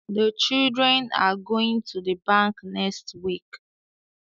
The children are goinfg to the bank next week